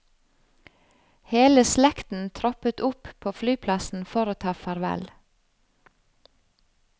Hele slekten troppet opp på flyplassen for å ta farvel.